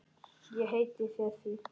Ég heiti þér því.